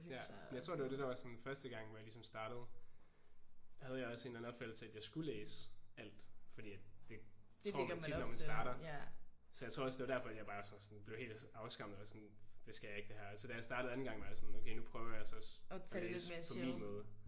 Jeg tror det var det der var sådan første gang hvor jeg ligesom startede havde jeg også en eller anden opfattelse af at jeg skulle læse alt fordi at det tror man tit når man starter. Så jeg tror også det var derfor at bare også sådan blev helt afskræmmet og sådan det skal jeg ikke det her. Og så da jeg startede anden gang var jeg sådan okay nu prøver jeg så at læse på min måde